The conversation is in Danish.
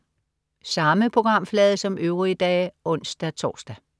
Samme programflade som øvrige dage (ons-tors)